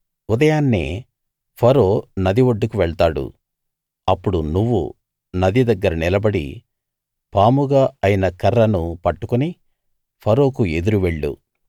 ఉదయాన్నే ఫరో నది ఒడ్డుకు వెళ్తాడు అప్పుడు నువ్వు నది దగ్గర నిలబడి పాముగా అయిన కర్రను పట్టుకుని ఫరోకు ఎదురు వెళ్ళు